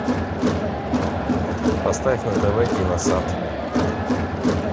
поставь на тв киносад